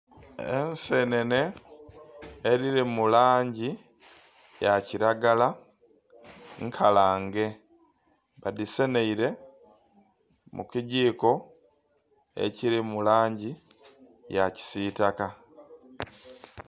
Ensenene edhiri mu langi ya kiragala nkalange. Badhiseneile mu kigiiko ekiri mu langi ya kisitaka.